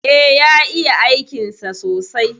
E, ya iya aikinsa sosai.